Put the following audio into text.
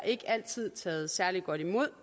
ikke altid taget særlig godt imod